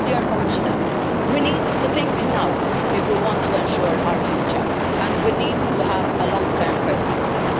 I would say to the Commissioner that we need to think now if we want to ensure our future and we need to have a long term perspective.